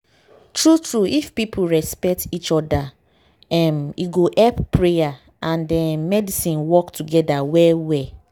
true true if people respect each oda um e go help prayer and errm medicine work togeda well well.